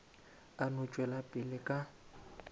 a no tšwela pele ka